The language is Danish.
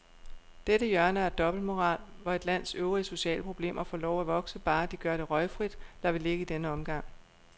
Dette hjørne af dobbeltmoral, hvor et lands øvrige sociale problemer får lov at vokse, bare de gør det røgfrit, lader vi ligge i denne omgang.